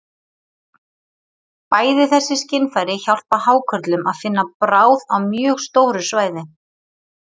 Bæði þessi skynfæri hjálpa hákörlum að finna bráð á mjög stóru svæði.